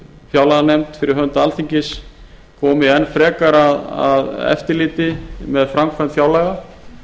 fjárlaganefnd fyrir hönd alþingis komi enn frekar að eftirliti fyrir hönd fjárlaga